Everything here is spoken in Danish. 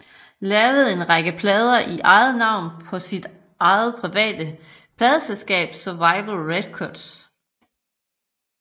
Lavede en række plader i eget navn på sit eget private pladeselskab Survival Records